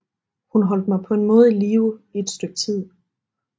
Hun holdt mig på en måde i live i et stykke tid